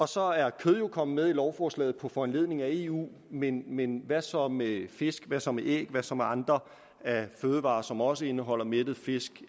så er kød jo kommet med i lovforslaget på foranledning af eu men men hvad så med fisk hvad så med æg hvad så med andre fødevarer som også indeholder mættet fedt